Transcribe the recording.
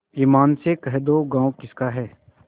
ईमान से कह दो गॉँव किसका है